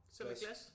Som er glas?